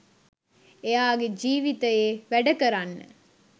එයාගේ ජීවිතයේ වැඩකරන්න